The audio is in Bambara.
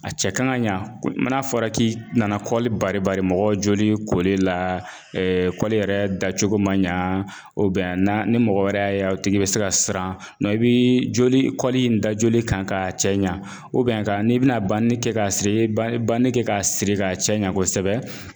A cɛ kan ŋa ɲa ko man'a fɔra k'i nana bari bari mɔgɔ joli koli laa yɛrɛ dacogo ma ɲaa u bɛn na ni mɔgɔ wɛrɛ y'a ye o tigi bɛ se ka siran, nɔ i bii joli kɔli in da joli kan k'a cɛ ɲa k'a n'i bi na kɛ k'a siri i ye ba i ye kɛ k'a siri k'a cɛɲa kosɛbɛ